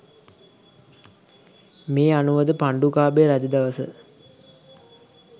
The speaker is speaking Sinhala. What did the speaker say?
මේ අනුවද පණ්ඩුකාභය රජ දවස